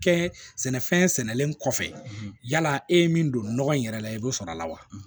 Kɛ sɛnɛfɛn sɛnɛnen kɔfɛ yala e ye min don nɔgɔ in yɛrɛ la i b'o sɔrɔ a la wa